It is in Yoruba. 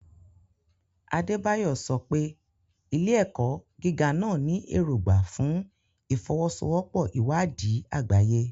Adebayo sọ pé, ilé-ẹ̀kọ́ gíga náà ní èrògbà fún ìfọwọ́sowọ́pọ̀ ìwádìí àgbáyé.